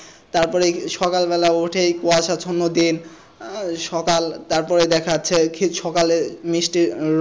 তারপরে সকালবেলা উঠে কুয়াশা ছন্ন দিন আহ সকাল তারপরে দেখা যাচ্ছে কি সকালের মিষ্টি,